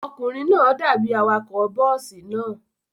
Ọkùnrin náà dàbí awakọ̀ bọ́ọ́sì náà.